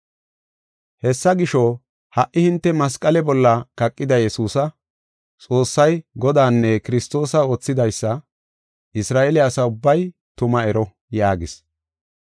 “Hessa gisho, ha hinte masqale bolla kaqida Yesuusa, Xoossay Godanne Kiristoosa oothidaysa Isra7eele asa ubbay tuma ero” yaagis.